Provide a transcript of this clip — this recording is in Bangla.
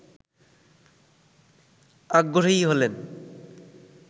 আগ্রহী হলেন